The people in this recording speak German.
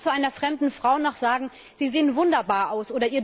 Darf ein Mann zu einer fremden Frau noch sagen Sie sehen wunderbar aus!